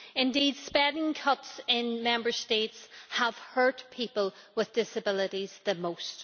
Indeed, spending cuts in Member States have hurt people with disabilities the most.